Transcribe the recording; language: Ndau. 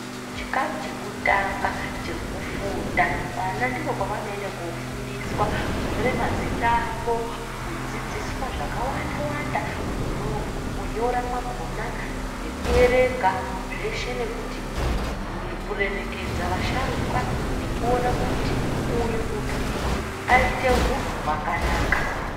Chikamu chekutanga chekufunda vana kunyora mazita avo kudzidziswa zvakawanda wanda kunyora kwakona nekuverenga zveshe nekuremekedza vasharuka nekuti uyu munhu aite hunhu hwakanaka